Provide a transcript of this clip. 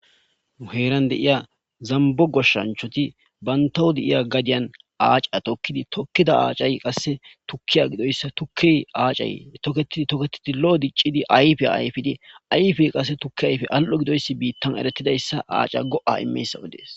Nu heran de'iya zambbo goshanchati bantawu de'iya gadyan acca tokkidi tokida accay qase tukkiya giddoyisa tukke accayi toketid toketidi lo'o diccid ayiffiya ayifiddi ayiffeyi qase tukke ayiffey alli'o giddoyisi bittan eretidayssa acca go'a immiyaysa oddes.